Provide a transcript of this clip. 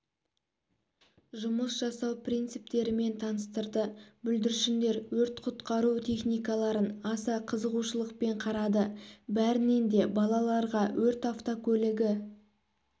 жұмыс жасау принциптерімен таныстырды бүлдіршіндер өрт-құтқару техникаларын аса қызығушылықпен қарады бәрінен де балаларға өрт автокөлігі